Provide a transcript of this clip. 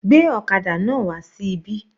Gbé ọ̀kadà náà wà sí ibí.